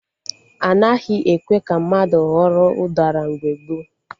Anaghị ekwe ka mmadụ ghọrọ ụdara mgbe gboo